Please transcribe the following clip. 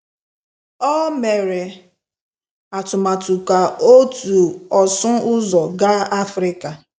Ọ mere atụmatụ ka otu ọsụ ụzọ gaa Africa.